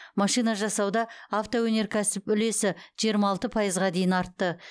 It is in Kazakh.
машина жасауда автоөнеркәсіп үлесі жиырма алты пайызға дейін артты